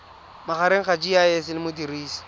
magareng ga gcis le modirisi